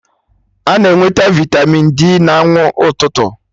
A na-enweta vitamịn D na anwụ ụtụtụ